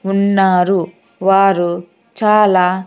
ఉన్నారు వారు చాలా--